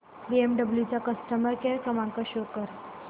BMW चा customer care क्रमांक show कर